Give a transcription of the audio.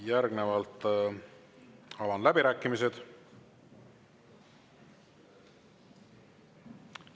Järgnevalt avan läbirääkimised.